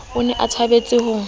o ne a thabetse ho